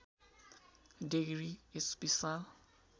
डेगरी यस विशाल